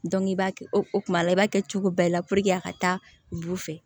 i b'a kɛ o kuma la i b'a kɛ cogo bɛɛ la a ka taa bu fɛ